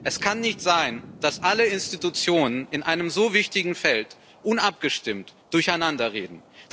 Es kann nicht sein, dass alle Institutionen in einem so wichtigen Feld unabgestimmt durcheinanderreden.